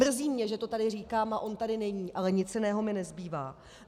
Mrzí mě, že to tady říkám, a on tady není, ale nic jiného mi nezbývá.